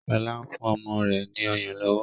Shola ń fún ọmọ rẹ ní ọyàn lówó.